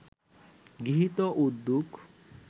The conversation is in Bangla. গৃহীত উদ্যোগ